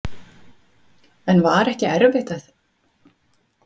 En var ekki erfitt að fylgjast með síðustu mínútum leiksins?